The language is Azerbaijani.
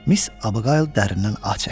Miss Abuqayl dərindən ah çəkdi.